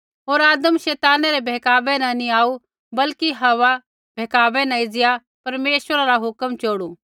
होर आदम शैताना रै बहकावै न नी आऊ बल्कि हव्वा बहकावै न एज़िया परमेश्वरा रा हुक्म चोड़ू